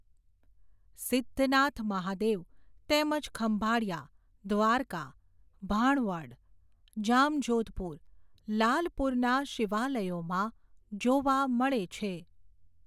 સિધ્ધનાથ મહાદેવ તેમજ ખંભાળીયા, દ્વારકા, ભાણવડ, જામજોધપુર, લાલપુરના શિવાલયોમાં જોવા મળે છે.